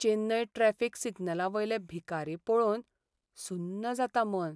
Chennai traffic सिग्नलांवयले भिकारी पळोवन सुन्न जाता मन.